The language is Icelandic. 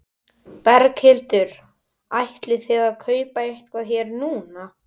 Berghildur: Ætlið þið að kaupa eitthvað hér núna?